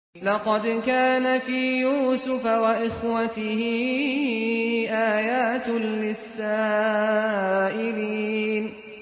۞ لَّقَدْ كَانَ فِي يُوسُفَ وَإِخْوَتِهِ آيَاتٌ لِّلسَّائِلِينَ